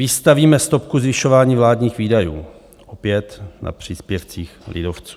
Vystavíme stopku zvyšování vládních výdajů, opět na příspěvcích lidovců.